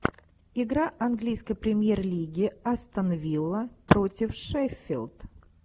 игра английской премьер лиги астон вилла против шеффилд